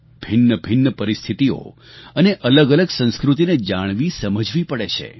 ભિન્નભિન્ન પરિસ્થિતિઓ અને અલગઅલગ સંસ્કૃતિને જાણવીસમજવી પડે છે